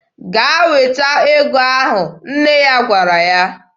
"Gaa weta ego ahụ!" nne ya gwara ya.